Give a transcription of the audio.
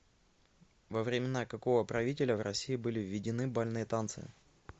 во времена какого правителя в россии были введены бальные танцы